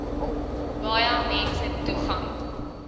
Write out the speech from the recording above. baie mense toegang